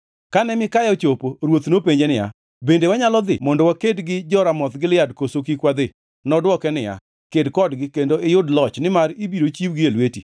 Kane Mikaya ochopo, ruoth nopenje niya, “Bende wanyalo dhi mondo waked gi jo-Ramoth Gilead, koso kik wadhi?” Nodwoke niya, “Ked kodgi kendo iyud loch nimar ibiro chiwgi e lweti.”